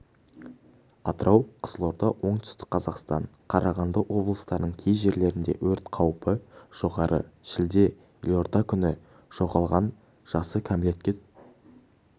атырау қызылорда оңтүстік қазақстан қарағанды облыстарының кей жерлерінде өрт қаупі жоғары шілде елордакүні жоғалған жасы кәмелетке